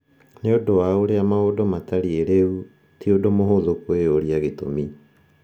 Nĩ ũndũ wa ũrĩa maũndũ matariĩ rĩu, ti ũndũ mũhũthũ kwĩyũria gĩtũmi.